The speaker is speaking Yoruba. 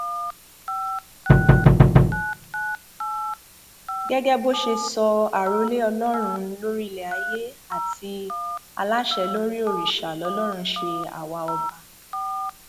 gẹgẹ bó ṣe sọ àròlé ọlọrun lórílẹ ayé àti aláṣẹ lórí òrìṣà lọlọrun ṣe àwa ọba